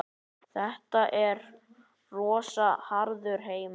Þetta er rosa harður heimur.